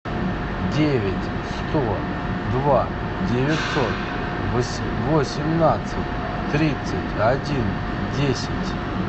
девять сто два девятьсот восемнадцать тридцать один десять